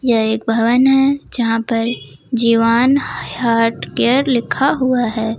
यह एक भवन है यहां पर जीवान हार्ट केयर लिखा हुआ है।